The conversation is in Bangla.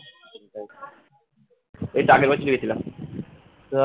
এইতো আগের বছর এ গেছিলাম